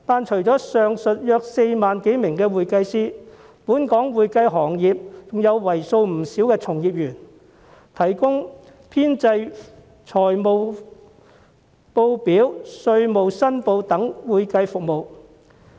除了上述約4萬多名會計師，本港會計行業還有為數不少的從業員，提供編製財務報表、稅務申報等會計服務。